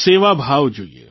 સેવાભાવ જોઇએ